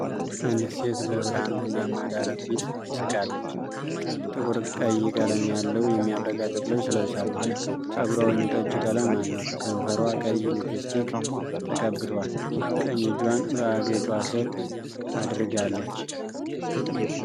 አንዲት ሴት በብርሃን ቡናማ ዳራ ፊት ትስቃለች። ጥቁር ቀይ ቀለም ያለው የሚያብረቀርቅ ልብስ ለብሳለች። ፀጉሯ ወይን ጠጅ ቀለም አለው። ከንፈሯ ቀይ ሊፕስቲክ ተቀብቷል. ቀኝ እጇን በአገጯ ስር አድርጋለች።